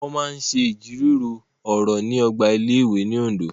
Wọn ṣe awọn ijiro ọrọ iwunlere ni ogba ilé-ìwé ni Ondo